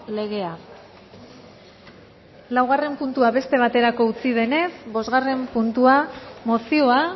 legea laugarren puntua beste baterako utzi denez bosgarren puntua mozioa